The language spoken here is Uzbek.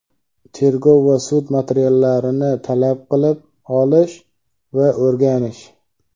tergov va sud materiallarini talab qilib olish va o‘rganish;.